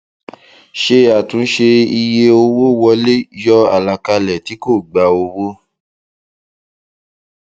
ṣe àtúnṣe iye owó wọlé yọ àlàkalẹ tí kò gbà owó